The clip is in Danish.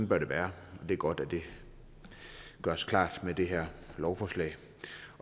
bør det være og det er godt at det gøres klart med det her lovforslag